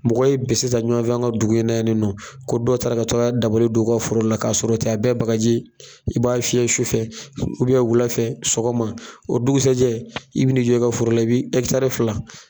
Mɔgɔw ye bese ta ɲɔgɔn fɛ an ka dugu in na yanni nɔ ko dɔw taara ka taga dabali do u ka foro la ka sɔrɔ o tɛ a bɛɛ ye bagaji ye i b'a fiyɛ sufɛ wulafɛ sɔgɔma o dugusɛjɛ i bɛ n'i jɔ i ka foro la i bi ɛkitari fila